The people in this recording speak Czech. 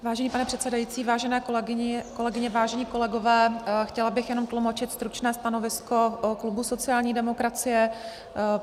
Vážený pane předsedající, vážené kolegyně, vážení kolegové, chtěla bych jenom tlumočit stručné stanovisko klubu sociální demokracie.